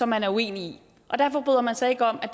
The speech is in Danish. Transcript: man er uenig i og derfor bryder man sig ikke om at